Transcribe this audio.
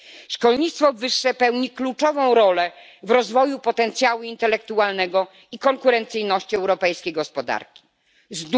Szkolnictwo wyższe pełni kluczową rolę w rozwoju potencjału intelektualnego i konkurencyjności gospodarki europejskiej.